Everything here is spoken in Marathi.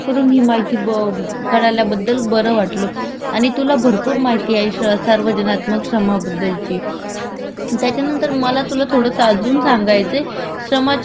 त्याचा नंतर मला तुला थोडंस अजून सांगायचय श्रमाची कौशल्य आधारित म्हणजे आपण जे श्रम करतो तो कौशल्यवर आधारित असतं त्याचे पण काही भरपूर प्रकार आहेत.